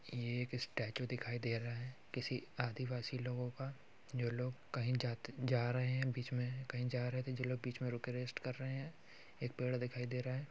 ये एक स्टैचू दिखाई दे रहा है किसी आदिवासी लोगों का। जो लोग कहीं जाते जा रहे हैं। बीच में कही जा रहे थे जो लोग बीच में रुक के रेस्ट कर रहे है। एक पेड़ दिखाई दे रहा है।